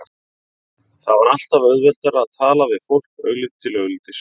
Það var alltaf auðveldara að tala við fólk augliti til auglitis.